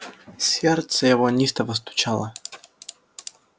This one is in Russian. сердце его неистово стучало